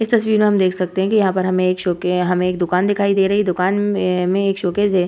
इस तस्वीर में हम देख सकते है यहाँ पर हमें एक शॉप के हमें एक दुकान दिखाई दे रही है दुकान में एक शोकेस है ।